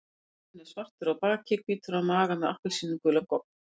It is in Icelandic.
Tjaldurinn er svartur á baki, hvítur á maga og með appelsínugulan gogg.